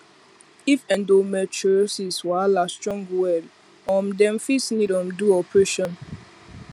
if endometriosis wahala strong well um dem fit need um do operation